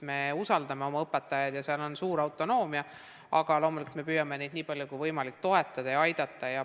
Me usaldame oma õpetajaid ja seal on suur autonoomia, aga loomulikult me püüame neid nii palju kui võimalik toetada ja aidata.